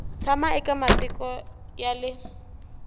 tshama eka matiko ya le